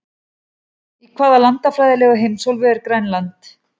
Í hvaða landfræðilegu heimsálfu er Grænland?